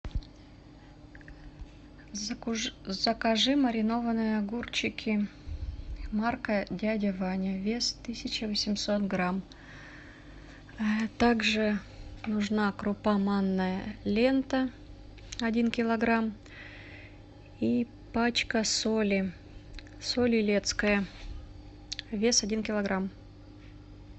закажи маринованные огурчики марка дядя ваня вес тысяча восемьсот грамм также нужна крупа манная лента один килограмм и пачка соли соль илецкая вес один килограмм